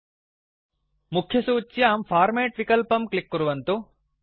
मुख्यसूच्यां men menu format विक्लपं click कुर्वन्तु